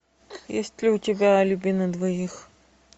есть ли у тебя алиби на двоих